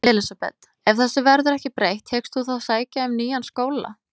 Elísabet: Ef þessu verður ekki breytt, hyggst þú þá sækja um nýjan skóla?